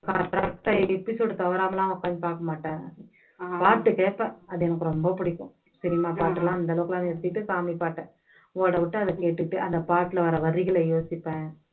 correct ஆ episode தவறாம எல்லாம் நான் உக்காந்து பாக்க மாட்டேன் பாட்டு கேப்பேன். அது எனக்கு ரொம்ப புடிக்கும் சினிமா பாட்டெல்லாம் அந்த அளவுக்கெல்லாம் நிறுத்திட்டு சாமி பாட்டு ஓடவிட்டு அதை கேட்டுட்டு அந்த பாட்டுல வர்ற வரிகளை யோசிப்பேன்